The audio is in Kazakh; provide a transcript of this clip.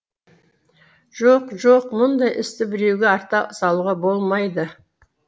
жоқ жоқ мұндай істі біреуге арта салуға болмайды